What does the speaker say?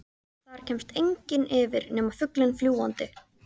Þar kemst enginn yfir nema fuglinn fljúgandi.